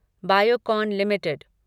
Biocon limited